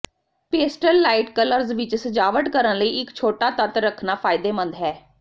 pastel light colours ਵਿੱਚ ਸਜਾਵਟ ਕਰਨ ਲਈ ਇੱਕ ਛੋਟਾ ਤੱਤ ਰੱਖਣਾ ਫਾਇਦੇਮੰਦ ਹੈ